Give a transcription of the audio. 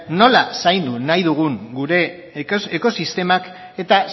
nola zaindu nahi dugun gure ekosistemak eta